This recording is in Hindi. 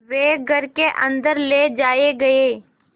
वे घर के अन्दर ले जाए गए